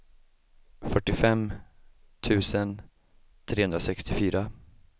fyrtiofem tusen trehundrasextiofyra